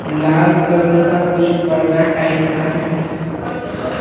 लाल colour का कुछ पर्दा टाइप का है।